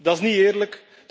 Dat is niet eerlijk.